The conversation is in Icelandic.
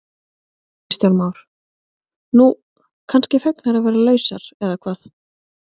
Kristján Már: Nú, kannski fegnar að vera lausar eða hvað?